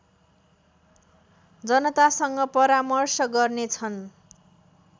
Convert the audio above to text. जनतासँग परामर्श गर्नेछन्